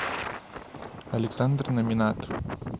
александр номинат